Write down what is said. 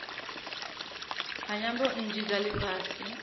ha nyambo nnzhi dza lifhasi